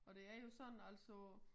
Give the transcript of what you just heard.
Og det er jo sådan altså